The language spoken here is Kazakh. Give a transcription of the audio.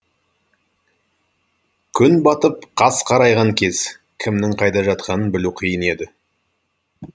күн батып қас қарайған кез кімнің қайда жатқанын білу қиын еді